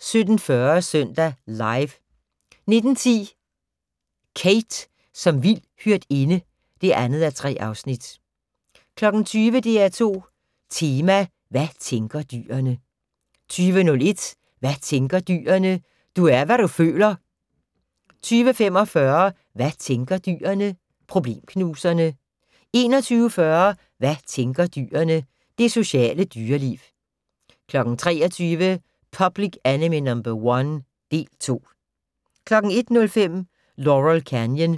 17:40: Søndag Live 19:10: Kate som vild hyrdinde (2:3) 20:00: DR2 Tema: Hvad tænker dyrene? 20:01: Hvad tænker dyrene? - Du er hvad du føler! 20:45: Hvad tænker dyrene? - Problemknuserne 21:40: Hvad tænker dyrene? - Det sociale dyreliv 23:00: Public Enemy No. 1 - del 2 01:05: Laurel Canyon